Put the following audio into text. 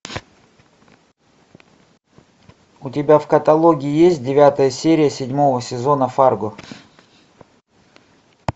у тебя в каталоге есть девятая серия седьмого сезона фарго